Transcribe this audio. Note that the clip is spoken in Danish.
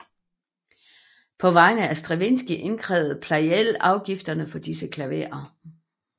På vegne af Stravinskij indkrævede Pleyel afgifterne for disse klaverer